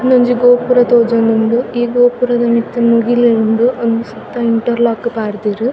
ಉಂದೊಂಜಿ ಗೋಪುರ ತೋಜೊಂದುಂಡು ಈ ಗೋಪುರದ ಮಿತ್ತ್ ಮುಗಿಲ್ ಉಂಡು ಅಮ್ ಸುತ್ತ ಇಂಟರ್ಲೋಕ್ ಪಾಡ್ದೆರ್.